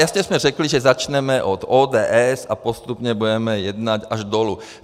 Jasně jsme řekli, že začneme od ODS a postupně budeme jednat až dolů.